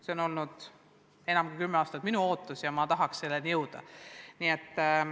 See on olnud enam kui kümme aastat minu ootus ja ma tahaks, et me selleni jõuaks.